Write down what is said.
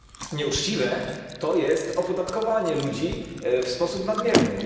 Nieuczciwe to jest opodatkowanie ludzi w sposób nadmierny.